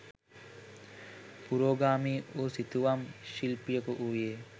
පුරෝගාමී වූ සිතුවම් ශිල්පියකු වූයේ